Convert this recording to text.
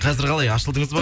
қазір қалай ашылдыңыз ба